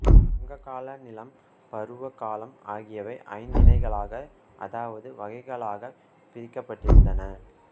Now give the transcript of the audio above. சங்ககால நிலம் பருவ காலம் ஆகியவை ஐந்து தினைகளாக அதாவது வகைகளாக பிரிக்கப்பட்டிருந்தன